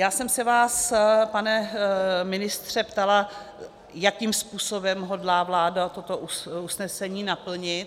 Já jsem se vás, pane ministře, ptala, jakým způsobem hodlá vláda toto usnesení naplnit.